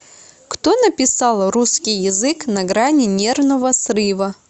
кто написал русский язык на грани нервного срыва